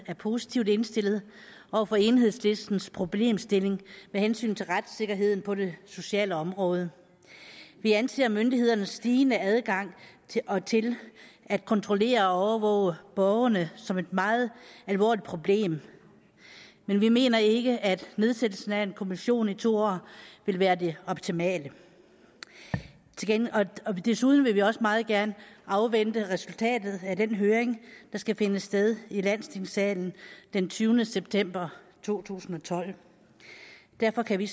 er positivt indstillet over for enhedslistens problemstilling med hensyn til retssikkerheden på det sociale område vi anser myndighedernes stigende adgang til at kontrollere og overvåge borgerne som et meget alvorligt problem men vi mener ikke at nedsættelsen af en kommission i to år vil være det optimale vi vil desuden også meget gerne afvente resultatet af den høring der skal finde sted i landstingssalen den tyvende september to tusind og tolv derfor kan vi